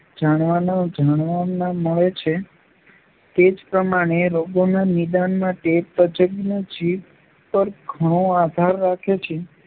જાણવાનું જાણવાનાં મળે છે, તે જ પ્રમાણે રોગોના નિદાન માટે તજ્ઞો જીભ પર ઘણો આધાર રાખે છે.